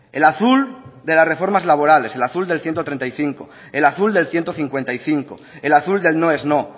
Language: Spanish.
el azul de las reformas laborales al azul del ciento treinta y cinco el azul del ciento cincuenta y cinco el azul del no es no